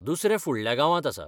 दुसरें फुडल्या गांवांत आसा.